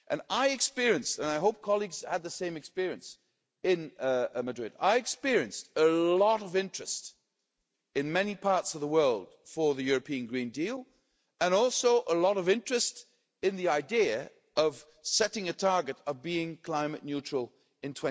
I experienced and I hope colleagues had the same experience in Madrid a lot of interest in many parts of the world for the European Green Deal and also a lot of interest in the idea of setting a target of being climate neutral in